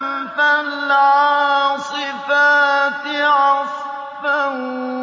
فَالْعَاصِفَاتِ عَصْفًا